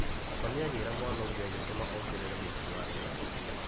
Mami agira mwana ũngĩ agĩtũma ongerere mũruti wa wĩra ũngĩ.